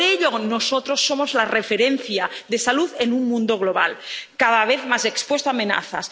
Por ello nosotros somos la referencia de salud en un mundo global, cada vez más expuesto a amenazas.